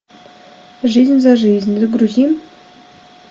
жизнь за жизнь загрузи